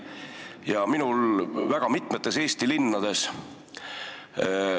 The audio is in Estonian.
Mina olen seda kogemust saanud väga mitmetes Eesti linnades.